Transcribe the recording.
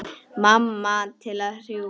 Mamma til að hjúfra.